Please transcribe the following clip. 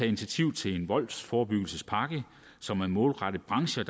initiativ til en voldsforebyggelsespakke som er målrettet brancher